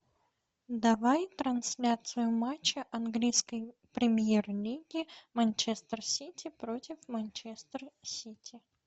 давай трансляцию матча английской премьер лиги манчестер сити против манчестер сити